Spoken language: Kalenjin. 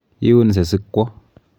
Iunse sikwo.